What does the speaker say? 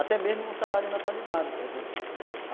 Até mesmo no salário natalidade, por exemplo.